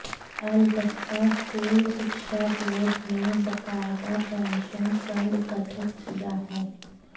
अलबत्ता स्कूल शिक्षा बोर्ड मंे बाकायदा पेंशन फंड गठित किया है